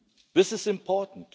This is important.